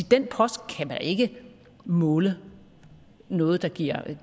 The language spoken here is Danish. den post kan man ikke måle noget der giver